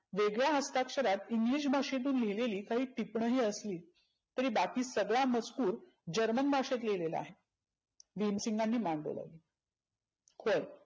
वेगळ्या हस्ताक्षरात English भाषेतून लिहिलेली काही टिपनही असली तरी बाकी सगळा मजकुर जर्मन भाषेत लिहीलेला आहे. भिमसिंगानी मान डोलावली होय.